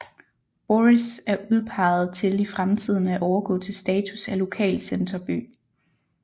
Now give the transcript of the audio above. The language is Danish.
Borris er udpeget til i fremtiden at overgå til status af lokalcenterby